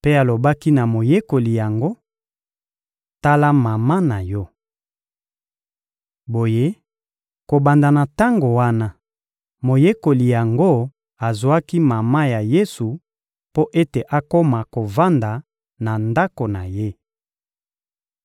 Mpe alobaki na moyekoli yango: — Tala mama na yo! Boye, kobanda na tango wana, moyekoli yango azwaki mama ya Yesu mpo ete akoma kovanda na ndako na ye.